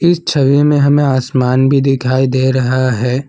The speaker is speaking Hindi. इस छवि में हमें आसमान भी दिखाई दे रहा है।